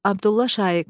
Abdullah Şaiq.